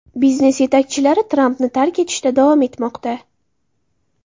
Biznes yetakchilari Trampni tark etishda davom etmoqda.